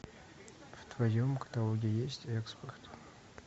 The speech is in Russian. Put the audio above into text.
в твоем каталоге есть экспорт